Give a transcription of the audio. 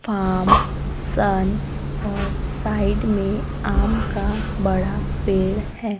Form सन और side में आम का बड़ा पेड़ है।